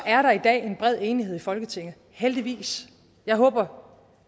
er der i dag en bred enighed i folketinget heldigvis jeg håber